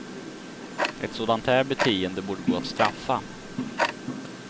Ett sådant här beteende borde gå att straffa.